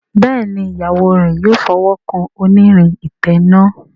Béèni Ìyàwó rẹ yóò fí ọwọ kàn onírin ìtanná.